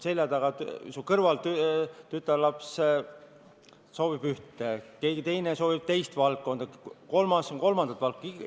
Sinu kõrval istuv tütarlaps soovib ühte, keegi teine soovib teist ja kolmas kolmandat valdkonda toetada.